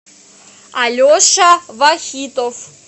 алеша вахитов